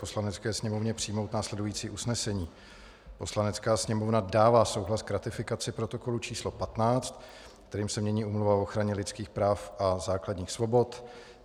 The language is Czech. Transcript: Poslanecké sněmovně přijmout následující usnesení: "Poslanecká sněmovna dává souhlas k ratifikaci Protokolu č. 15, kterým se mění Úmluva o ochraně lidských práv a základních svobod."